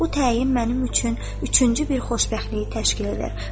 Bu təyin mənim üçün üçüncü bir xoşbəxtliyi təşkil edir.